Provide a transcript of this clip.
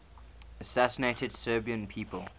assassinated serbian people